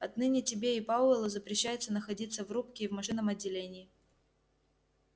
отныне тебе и пауэллу запрещается находиться в рубке и в машинном отделении